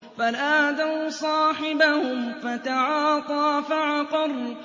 فَنَادَوْا صَاحِبَهُمْ فَتَعَاطَىٰ فَعَقَرَ